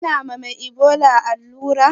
Ana ma mai ibola allura ne?